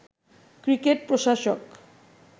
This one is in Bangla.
ক্রিকেট প্রশাসক